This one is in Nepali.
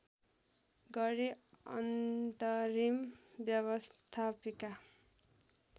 गरी अन्तरिम व्यवस्थापिका